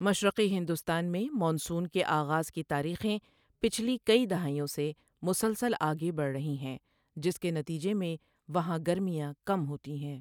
مشرقی ہندوستان میں مانسون کے آغاز کی تاریخیں پچھلی کئی دہائیوں سے مسلسل آگے بڑھ رہی ہیں، جس کے نتیجے میں وہاں گرمیاں کم ہوتی ہیں۔